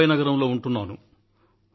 నేను ముంబాయి నగరంలో ఉంటున్నాను